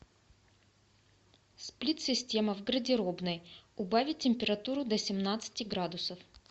сплит система в гардеробной убавить температуру до семнадцати градусов